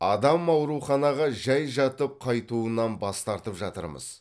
адам ауруханаға жай жатып қайтуынан бас тартып жатырмыз